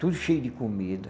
Tudo cheio de comida.